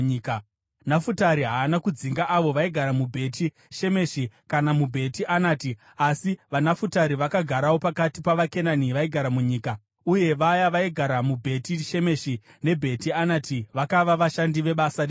Nafutari haana kudzinga avo vaigara muBheti Shemeshi kana muBheti Anati; asi vaNafutari vakagarawo pakati pavaKenani vaigara munyika, uye vaya vaigara muBheti Shemeshi neBheti Anati vakava vashandi vebasa rechibharo.